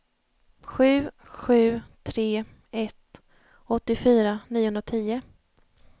sju sju tre ett åttiofyra niohundratio